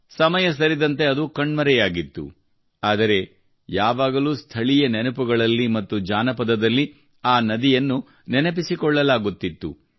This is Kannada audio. ಸಮಯ ಸರಿದಂತೆ ಅದು ಕಣ್ಮರೆಯಾಗಿತ್ತು ಆದರೆ ಅವಳು ಯಾವಾಗಲೂ ಸ್ಥಳೀಯ ನೆನಪುಗಳಲ್ಲಿ ಮತ್ತು ಜಾನಪದದಲ್ಲಿ ಆ ನದಿಯನ್ನು ನೆನಪಿಸಿಕೊಳ್ಳಲಾಗುತ್ತಿತ್ತು